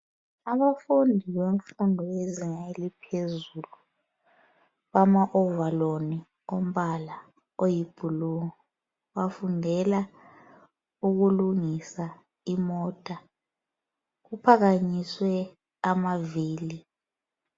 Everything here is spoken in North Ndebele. Abafundi bemfudo yezinga eliphezulu bama ovaloni ombala oyiblue bafundela ukulungisa imota kuphakanyiswe amavili.